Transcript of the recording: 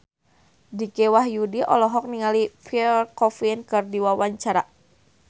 Dicky Wahyudi olohok ningali Pierre Coffin keur diwawancara